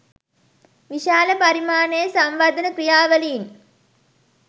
විශාල පරිමාණයේ සංවර්ධන ක්‍රියාවලීන්